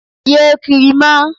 Ye kiri mọ.